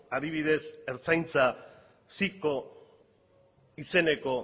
adibidez ertzaintza citco izeneko